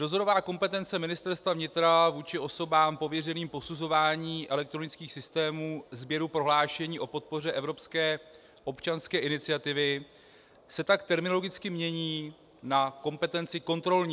Dozorová kompetence Ministerstva vnitra vůči osobám pověřeným posuzováním elektronických systémů sběru prohlášení o podpoře evropské občanské iniciativy se tak terminologicky mění na kompetenci kontrolní.